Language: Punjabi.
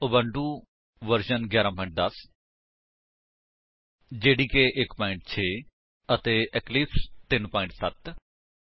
Ubuntu version 11 10 Java development kit 1 6 ਅਤੇ ਇਕਲਿਪਸ 3 7 0 ਇਸ ਟਿਊਟੋਰਿਅਲ ਨੂੰ ਸਮਝਨ ਲਈ ਤੁਹਾਨੂੰ ਗਿਆਨ ਹੋਣਾ ਚਾਹੀਦਾ ਹੈ ਕਿ ਇਕਲਿਪਸ ਵਿੱਚ ਸਧਾਰਨ ਜਾਵਾ ਪ੍ਰੋਗਰਾਮ ਕਿਵੇਂ ਲਿਖੀਏ ਕੰਪਾਇਲ ਅਤੇ ਰਣ ਕਰੀਏ